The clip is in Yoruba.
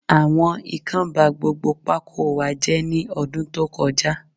Àwọn Ikán ba gbogbo pákó wa jé ní ọdún tó kọ já